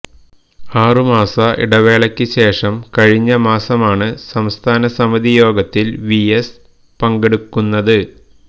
ആറുമാസ ഇടവേളയ്ക്ക് ശേഷം കഴിഞ്ഞ മാസമാണ് സംസ്ഥാന സമിതിയോഗത്തിൽ വി എസ് പങ്കെടുക്കുന്നത്